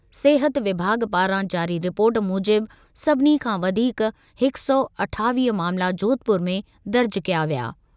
सिहत विभाॻु पारां जारी रिपोर्ट मूजिबि सभिनी खां वधीक हिक सौ अठावीह मामला जोधपुर में दर्ज कया विया।